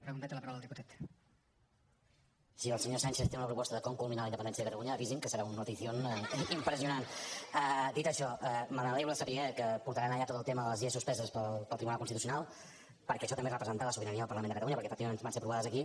si el senyor sánchez té una proposta de com culminar la independència de catalunya avisi’m que serà un noticiónsaber que portaran allà tot el tema de les lleis suspeses pel tribunal constitucional perquè això també és representar la sobirania del parlament de catalunya perquè efectivament van ser aprovades aquí